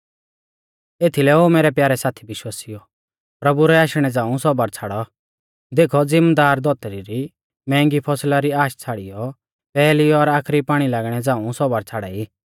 एथीलै ओ मैरै प्यारै साथी विश्वासिउओ प्रभु रै आशणै झ़ांऊ सौबर छ़ाड़ौ देखौ ज़िमदार धौतरी री मैंहगी फसला री आश छ़ाड़ियौ पैहली और आखरी पाणी लागणै झ़ांऊ सौबर छ़ाड़ाई